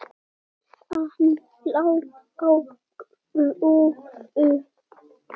Hann lá á grúfu.